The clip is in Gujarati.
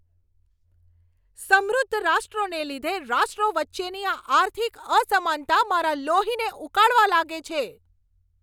સમૃદ્ધ રાષ્ટ્રોને લીધે રાષ્ટ્રો વચ્ચેની આ આર્થિક અસમાનતા મારા લોહીને ઉકાળવા લાગે છે.